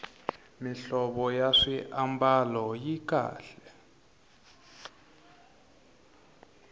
mihlovo ya swiambalo yi kahle